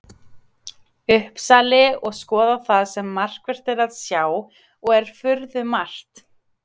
Uppsali og skoða það sem markvert er að sjá, og er furðumargt.